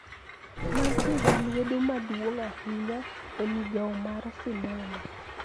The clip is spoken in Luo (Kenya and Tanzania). Mantie gi lwedo maduong` ahinya e migao mar sinema